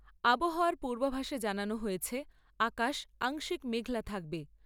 আবহাওয়ার পূর্বাভাসে জানানো হয়েছে আকাশ আংশিক মেঘলা থাকবে।